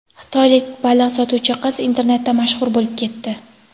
Xitoylik baliq sotuvchi qiz internetda mashhur bo‘lib ketdi.